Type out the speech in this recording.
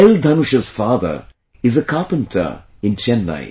Dhanush's father is a carpenter in Chennai